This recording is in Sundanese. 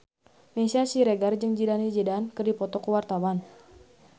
Meisya Siregar jeung Zidane Zidane keur dipoto ku wartawan